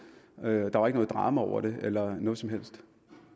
der var ikke noget drama over det eller noget som helst